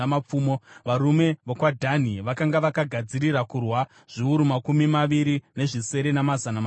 varume vokwaDhani, vakanga vakagadzirira kurwa, zviuru makumi maviri nezvisere namazana matanhatu;